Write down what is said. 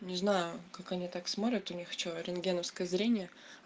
не знаю как они так смотрят у них что рентгеновское зрение